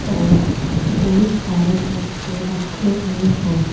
और बहुत सारे कट्टे रखे हुए हैं।